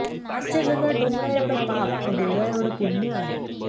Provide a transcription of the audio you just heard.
आजच्या जगात डोंगरा एवढं पाप व दोऱयाएवढं पुण्य आहे